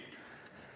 Nii.